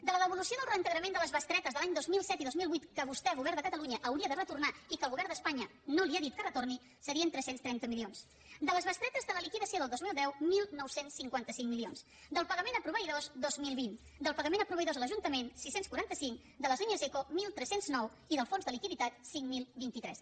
de la devolució del reintegrament de les bestretes dels any dos mil set i dos mil vuit que vostè govern de catalunya hauria de retornar i que el govern d’espanya no li ha dit que retorni serien tres cents i trenta milions de les bestretes de la liquidació del dos mil deu dinou cinquanta cinc milions del pagament a proveïdors dos mil vint del pagament a proveïdors a l’ajuntament sis cents i quaranta cinc de les línies ico tretze zero nou i del fons de liquiditat cinc mil vint tres